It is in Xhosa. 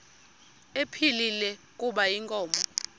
ephilile kuba inkomo